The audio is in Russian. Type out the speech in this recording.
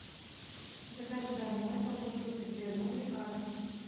закажи домой колбасу пепперони атрус